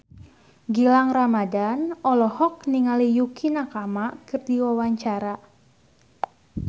Gilang Ramadan olohok ningali Yukie Nakama keur diwawancara